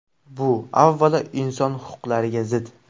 Bu, avvalo, inson huquqlariga zid.